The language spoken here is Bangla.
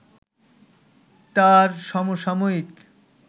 তাঁর সমসাময়িক